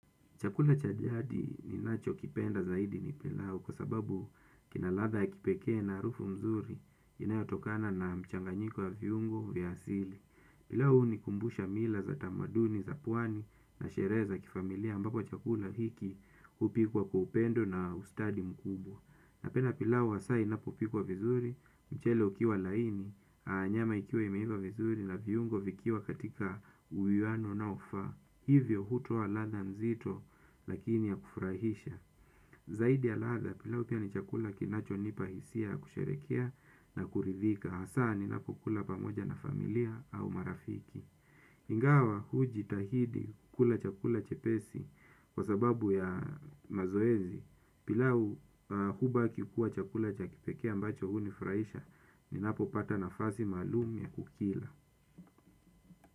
Chakula cha jadi ninachokipenda zaidi ni pilau kwa sababu kina ladha ya kipekee na harufu mzuri inayotokana na michanganyiko kwa viungo vya asili. Pilau hunikumbusha mila za tamaduni za pwani na sherehe za kifamilia ambapo chakula hiki hupikwa kwa upendo na ustadi mkubwa. Napenda pilau hasa inapopikwa vizuri, mchele ukiwa laini, na nyama ikiwa imeiva vizuri na viungo vikiwa katika uwiano unaofaa. Hivyo hutoa ladha nzito lakini ya kufurahisha. Zaidi ya ladha pilau pia ni chakula kinachonipa hisia ya kusherehekea na kuridhika. Hasaa ninapokula pamoja na familia au marafiki. Ingawa hujitahidi kula chakula chepesi kwa sababu ya mazoezi pilau huwa kikuwa chakula cha kipekea ambacho hunifurahisha. Ninapopata nafasi maalum kukila.